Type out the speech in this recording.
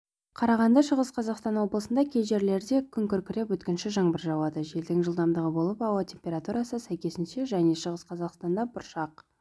қарағанды шығыс қазақстан облысында кей жерлерде күн күркіреп өткінші жаңбыр жауады желдің жылдамдығы болып ауа температурасы сәйкесінше және шығыс қазақстанда бұршақ